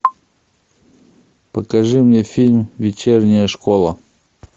покажи мне фильм вечерняя школа